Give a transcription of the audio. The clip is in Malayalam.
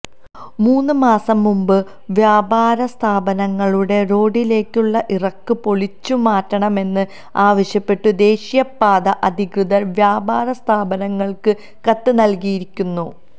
മൂന്ന് മാസം മുൻപു വ്യാപാരസ്ഥാപനങ്ങളുടെ റോഡിലേക്കുള്ള ഇറക്ക് പൊളിച്ചുമാറ്റണമെന്ന് ആവശ്യപ്പെട്ടു ദേശീയപാത അധികൃതർ വ്യാപാര സ്ഥാപനങ്ങൾക്ക് കത്ത് നൽകിയിരുന്നു